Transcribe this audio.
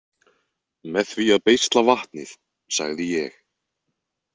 Með því að beisla vatnið, sagði ég.